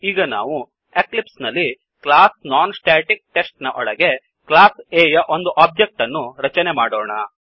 ಈಗ ನಾವು ಎಕ್ಲಿಪ್ಸ್ ನಲ್ಲಿ ಕ್ಲಾಸ್ ನಾನ್ಸ್ಟಾಟಿಕ್ಟೆಸ್ಟ್ ನ ಒಳಗೆ ಕ್ಲಾಸ್ A ಯ ಒಂದು ಒಬ್ಜೆಕ್ಟ್ ಅನ್ನು ರಚನೆ ಮಾಡೋಣ